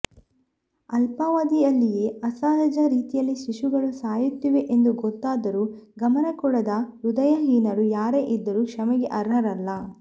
ಅಲ್ಪಾವಧಿಯಲ್ಲಿಯೇ ಅಸಹಜ ರೀತಿಯಲ್ಲಿ ಶಿಶುಗಳು ಸಾಯುತ್ತಿವೆ ಎಂದು ಗೊತ್ತಾದರೂ ಗಮನ ಕೊಡದ ಹೃದಯಹೀನರು ಯಾರೇ ಇದ್ದರೂ ಕ್ಷಮೆಗೆ ಅರ್ಹರಲ್ಲ